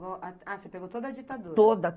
ah você pegou toda a ditadura? Toda